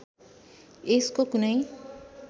यसको कुनै